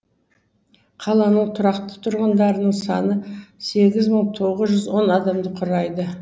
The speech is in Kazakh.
қаланың тұрақты тұрғындарының саны сегіз мың тоғыз жүз он адамды құрайды